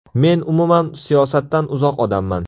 Men umuman siyosatdan uzoq odamman.